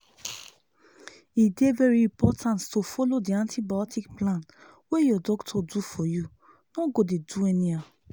e dey very important to follow the antibiotic plan wey your doctor do for you no go dey do anyhow